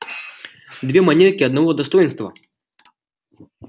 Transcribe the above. две монетки одного достоинства